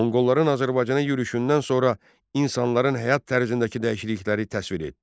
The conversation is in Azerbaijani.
Monqolların Azərbaycana yürüşündən sonra insanların həyat tərzindəki dəyişiklikləri təsvir et.